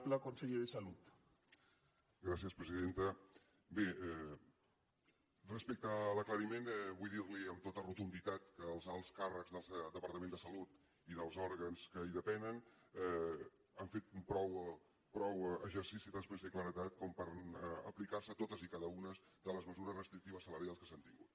bé respecte a l’aclariment vull dir li amb tota rotunditat que els alts càrrecs del departament de salut i dels òrgans que en depenen han fet prou exercici de transparència i claredat per aplicar se totes i cada una de les mesures restrictives salarials que s’han tingut